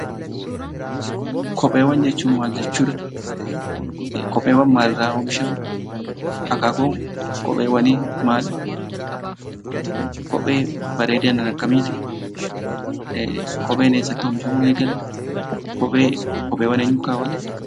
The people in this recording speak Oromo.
Kopheewwan jechuun maal jechuudha? kopheewwan maal irraa oomishamu? akkakuun kopheewwani maal? Kopheen bareedina akkamitti? kopheen eessatti oomishaamuu eegale? Kopheewwaan eenyuuttu kawaatta?